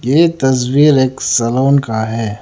ये तस्वीर एक सैलून का है।